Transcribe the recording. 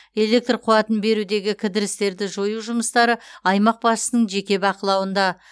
электр қуатын берудегі кідірістерді жою жұмыстары аймақ басшысының жеке бақылауында